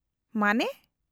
-ᱢᱟᱱᱮ ?